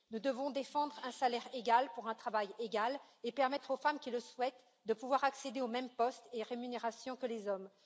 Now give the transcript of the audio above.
Nous devons défendre un salaire égal pour un travail égal et permettre aux femmes qui le souhaitent de pouvoir accéder aux mêmes postes et rémunérations que les hommes.